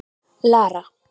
Lara